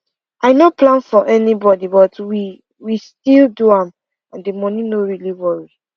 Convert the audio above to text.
i no plan for anybody but we we still do am and the money no really worry